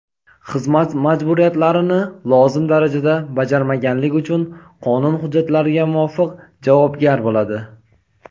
xizmat majburiyatlarini lozim darajada bajarmaganligi uchun qonun hujjatlariga muvofiq javobgar bo‘ladi.